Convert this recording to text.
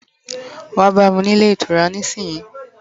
Wa bami ni Ile itura nisisiyi!